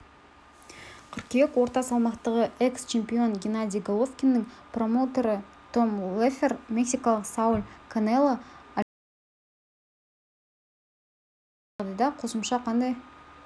қыркүйек орта салмақтағы экс чемпион геннадий головкиннің промоутері том леффлер мексикалық сауль канело альвареспен үшінші жекпе-жекке келісе алмаған жағдайда қосымша қандай